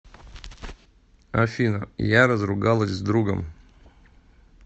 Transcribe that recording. афина я разругалась с другом